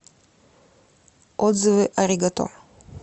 отзывы аригато